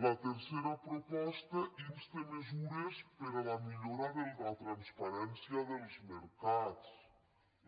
la tercera proposta insta mesures per a la millora de la transparència dels mercats